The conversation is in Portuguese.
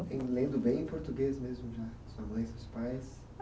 Lendo bem em português mesmo já, sua mãe, seus pais?